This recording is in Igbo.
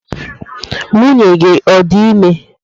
Nwunye gi odi ime?